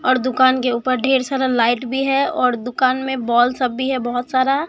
और दुकान के ऊपर ढेर सारा लाइट भी है और दुकान में बॉल सब भी है बहोत सारा।